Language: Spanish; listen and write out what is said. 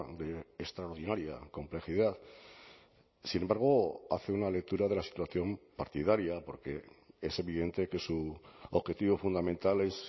de extraordinaria complejidad sin embargo hace una lectura de la situación partidaria porque es evidente que su objetivo fundamental es